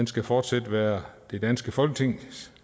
skal fortsat være det danske folketing